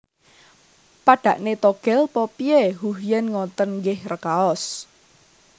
Padhakne Togel pa piye Huh Yen ngoten nggih rekaos